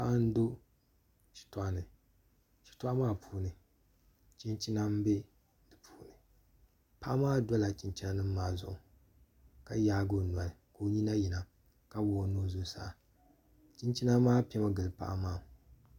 Paɣa n do shitoɣu ni shitoɣu maa puuni chinchina n bɛ di puuni paɣa maa dola chinchina nim maa zuɣu ka yaagi o noli ka o nyina yina ka wuɣu o nuu zuɣusaa chinchina maa piɛmi gili paɣa maa